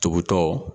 Tugutɔ